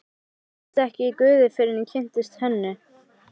Ég kynntist ekki guði fyrr en ég kynntist Hönnu.